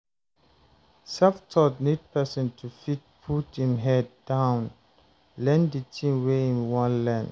self-taught need person to fit put im head down learn di thing wey im wan learn